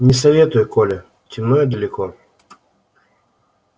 не советую коля темно и далеко